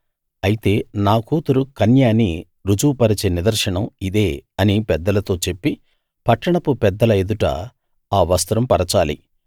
అయితే నా కూతురు కన్య అని రుజువు పరిచే నిదర్శనం ఇదే అని పెద్దలతో చెప్పి పట్టణపు పెద్దల ఎదుట ఆ వస్త్రం పరచాలి